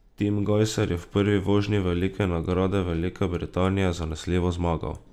Tim Gajser je v prvi vožnji Velike nagrade Velike Britanije zanesljivo zmagal.